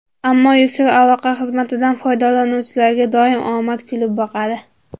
Ammo Ucell aloqa xizmatidan foydalanuvchilarga doim omad kulib boqadi.